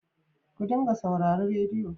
Ku dinga saurari rediyo.